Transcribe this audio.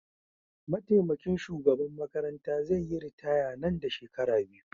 Mataimakin shugaban makaranta zai yi ritaya Nan da shekaru biyu